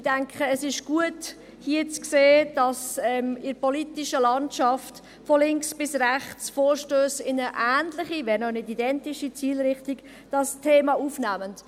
Ich denke, es ist gut, hier zu sehen, dass in der politischen Landschaft von links bis rechts, Vorstösse in eine ähnlich, wenn auch nicht identische Zielrichtung dieses Thema aufnehmen.